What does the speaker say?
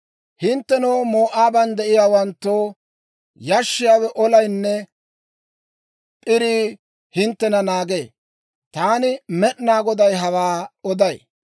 «Hinttenoo, Moo'aaban de'iyaawanttoo, yashshiyaawe, ollaynne p'irii hinttena naagee. Taani Med'inaa Goday hawaa oday.